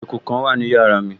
Eku kan wà ní yàrá mi